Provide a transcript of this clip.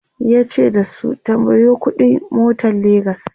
yace da su"tambayo ƙuɗi n motan legas!"